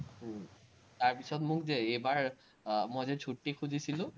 উম তাৰপিচত মোক যে এইবাৰ আহ মই যে ছুট্টি খুজিছিলো,